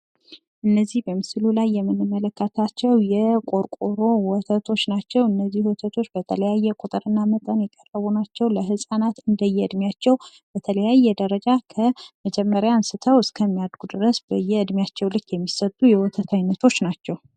እነዚህ በምስሉ ላይ የምንመለከታቸው የቆርቆሮ ወተቶች ናቸው ። እነዚህ ወተቶች በተለያየ ቁጥርና መጠን የቀረቡ ናቸው። ለህፃናት እንደየ እድሜያቸው በተለያየ ደረጃ ከ መጀመሪያ አንስተው እስከሚያድጉ ድረስ በየ እድሜያቸው ልክ የሚሰጡ የወተት አይነቶች ናቸው።